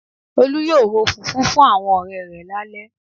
Olú yóò ro fùfú fún àwọn ọ̀rẹ rẹ̀ lálẹ́